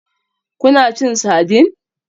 Kuna cin sardine?